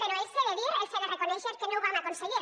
però els he de dir els he de reconèixer que no ho vam aconseguir